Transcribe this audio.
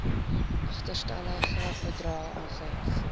agterstallige bedrae gehef